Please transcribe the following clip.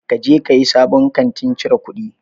Ka je kayi sabon katin cire kuɗin?